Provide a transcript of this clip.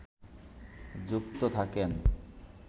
যুক্ত থাকেন